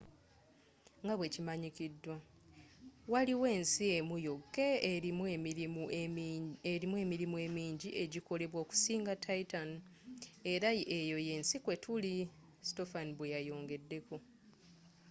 nga bwekimanyidwa waliyo ensi emu yokka erimu emirimu emingi egyikolebwa okusinga titan era eyo yensi kwetuli,” stofan bweyayongedeko